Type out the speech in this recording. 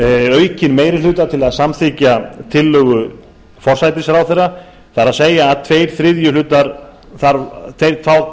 aukinn meiri hluta til að samþykkja tillögu forsætisráðherra það er að tveir þriðju hluta atkvæða á